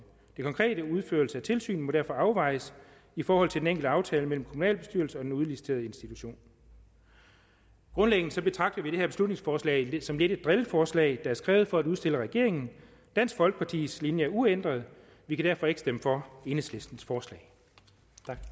den konkrete udførelse af tilsynet må derfor afvejes i forhold til den enkelte aftale mellem kommunalbestyrelse og den udliciterede institution grundlæggende betragter vi det her beslutningsforslag lidt som et drilleforslag er skrevet for at udstille regeringen dansk folkepartis linje er uændret og vi kan derfor ikke stemme for enhedslistens forslag